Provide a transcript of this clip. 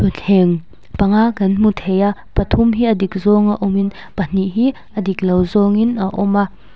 thleng panga kan hmu thei a pathum hi a dik zawnga awm in pahnih hi a dik lo zawng in a awm a.